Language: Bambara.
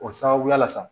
O sababuya la sa